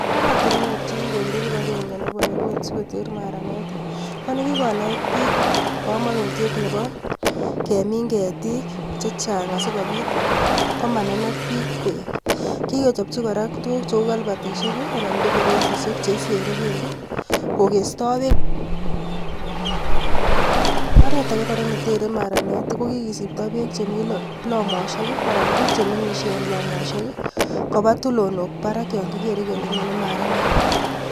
Oratunweek Eng kipagenge konkanetishet ap.piik chegikimeet kelenjiii magat kopaaa tulondook parak yanyonee maranet